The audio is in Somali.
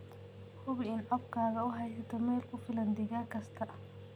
Hubi in coobkaaga uu haysto meel ku filan digaag kasta.